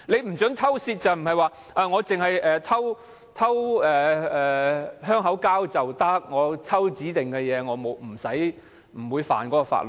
不准偷竊指可以偷香口膠，偷指定物品就不算犯法？